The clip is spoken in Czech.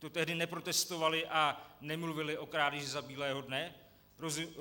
To tehdy neprotestovali a nemluvili o krádeži za bílého dne?